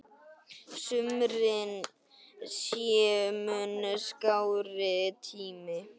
Sumrin séu mun skárri tími.